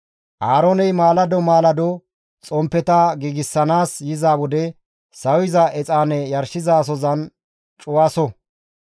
«Aarooney maalado maalado xomppeta giigsanaas yiza wode sawiza exaane yarshizasozan cuwaso.